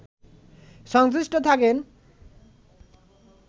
সংশ্লিষ্ট থাকেন